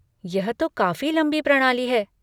यह तो काफ़ी लंबी प्रणाली है।